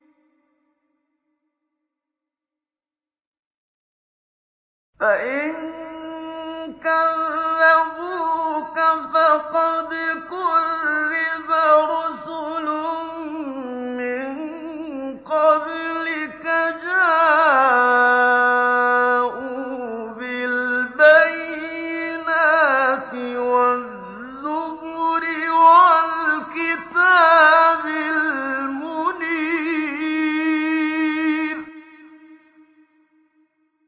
فَإِن كَذَّبُوكَ فَقَدْ كُذِّبَ رُسُلٌ مِّن قَبْلِكَ جَاءُوا بِالْبَيِّنَاتِ وَالزُّبُرِ وَالْكِتَابِ الْمُنِيرِ